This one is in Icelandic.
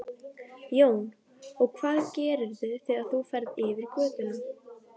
Jón: Og hvað gerirðu þegar þú ferð yfir götuna?